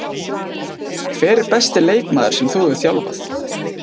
Hver er besti leikmaður sem þú hefur þjálfað?